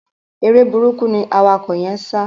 Eré burúkú ni awakọ̀ yẹ́n ń sá.